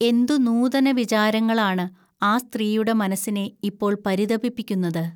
എന്തു നൂതനവിചാരങ്ങളാണ് ആ സ്ത്രീയുടെ മനസ്സിനെ ഇപ്പോൾ പരിതപിപ്പിക്കുന്നത്